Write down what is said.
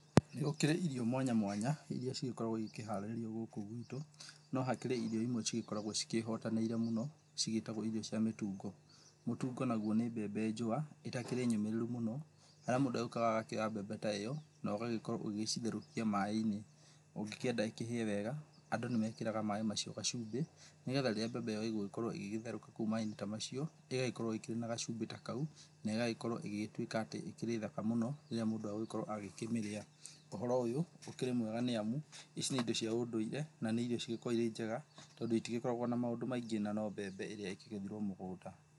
Nĩ gũkĩrĩ irio mwanya mwanya iria cigĩkoragwo igĩkĩharĩrĩrio gũkũ gwitũ. No hakĩrĩ irio imwe cigĩkoragwo cikĩhotanĩire mũno cigĩtagwo irio cia mĩtungo. Mũtungo naguo nĩ mbembe njũa itakĩrĩ nyũmĩrĩru mũno harĩa mũndũ agĩũkaga agakĩoya mbembe ta ĩyo na ũgagĩkorwo ũgĩgĩcitherũkia maaĩ-inĩ. Ũngĩkĩenda ĩkĩhĩe wega, andũ nĩmekĩraga maaĩ macio gacumbĩ nĩ getha rĩrĩa mbembe ĩyo ĩgũgĩkorwo ĩgĩtherũka kũu maaĩ-inĩ ta macio ĩgagĩkorwo ĩĩ na gacumbĩ ta kau, na ĩgagĩkorwo igĩgĩtwĩka atĩ ĩkĩrĩ thaka mũno rĩrĩa mũndũ egũkorwo agĩkĩmĩrĩa. Ũhoro ũyũ ũkĩrĩ mwega nĩamu ici nĩ indo cia ũndũire, na nĩ irio cigĩkoragwo irĩ njega tondũ itigĩkoragwo na maũndũ maingĩ na no mbembe ĩrĩa ĩkĩgethirwo mũgũnda.